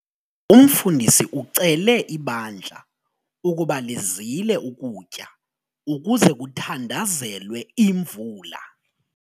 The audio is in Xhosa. Umfundisi ucele ibandla ukuba lizile ukutya ukuze kuthandazelwe imvula.